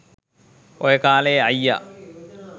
ඔය කාලෙ අයියා